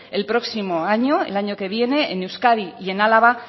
el próximo año el año que viene en euskadi y en álava